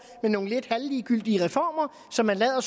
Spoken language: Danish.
med nogle lidt halvligegyldige reformer som man lader